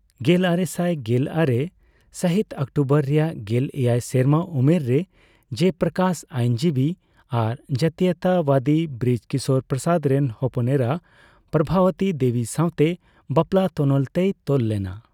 ᱜᱮᱞᱟᱨᱮᱥᱟᱭ ᱜᱮᱞ ᱟᱨᱮ ᱥᱟᱹᱦᱤᱛ ᱚᱠᱴᱳᱵᱚᱨ ᱨᱮᱭᱟᱜ ᱜᱮᱞ ᱮᱭᱟᱭ ᱥᱮᱨᱢᱟ ᱩᱢᱮᱨ ᱨᱮ, ᱡᱚᱭᱯᱨᱚᱠᱟᱥ ᱟᱭᱤᱱᱡᱤᱵᱤ ᱟᱨ ᱡᱟᱹᱛᱤᱭᱚᱛᱟᱵᱟᱫᱤ ᱵᱨᱤᱡᱽ ᱠᱤᱥᱳᱨ ᱯᱨᱚᱥᱟᱫ ᱨᱮᱱ ᱦᱚᱯᱚᱱᱮᱨᱟ ᱯᱨᱚᱵᱷᱟᱵᱚᱛᱤ ᱫᱮᱵᱤ ᱥᱟᱣᱛᱮ ᱵᱟᱯᱞᱟ ᱛᱚᱱᱚᱞ ᱛᱮᱭ ᱛᱚᱞ ᱞᱮᱱᱟ ᱾